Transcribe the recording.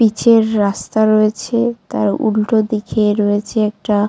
পিচের রাস্তা রয়েছে তার উল্টো দিকে রয়েছে একটা --